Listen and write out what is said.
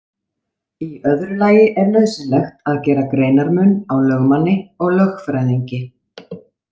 Í öðru lagi er nauðsynlegt að gera greinarmun á lögmanni og lögfræðingi.